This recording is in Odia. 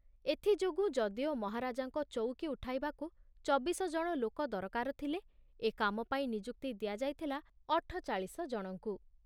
ଏଥିଯୋଗୁ ଯଦିଓ ମହାରାଜାଙ୍କ ଚଉକି ଉଠାଇବାକୁ ଚବିଶ ଜଣ ଲୋକ ଦରକାର ଥିଲେ, ଏ କାମପାଇଁ ନିଯୁକ୍ତି ଦିଆଯାଇଥିଲା ଅଠଚାଳିଶ ଜଣଙ୍କୁ।